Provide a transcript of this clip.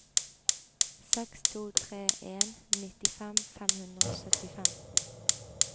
seks to tre en nittifem fem hundre og syttifem